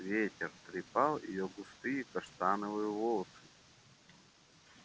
ветер трепал её густые каштановые волосы